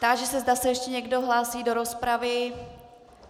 Táži se, zda se ještě někdo hlásí do rozpravy.